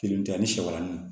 Kelen tɛ ani sɛmanin